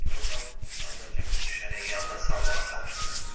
Droqan azacıq büzüşərək yadına salmağa çalışdı.